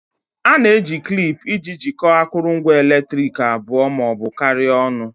A na-eji klip iji jikọọ akụrụngwa eletriki abụọ ma ọ bụ karịa ọnụ